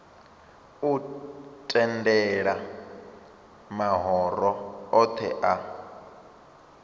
u tendela mahoro othe a